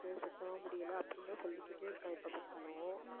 இருக்கு சுத்தமா முடியலை அப்படின்னுதான் சொல்லிக்கிட்டே இருக்க எப்ப பார்த்தாலும்